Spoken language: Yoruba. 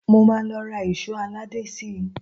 Mo máa lọ ra èṣó aládé síi